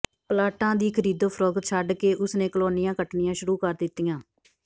ਪਲਾਟਾਂ ਦੀ ਖ਼ਰੀਦੋ ਫਰੋਖ਼ਤ ਛੱਡ ਕੇ ਉਸ ਨੇ ਕਾਲੋਨੀਆਂ ਕੱਟਣੀਆਂ ਸ਼ੁਰੂ ਕਰ ਦਿੱਤੀਆਂ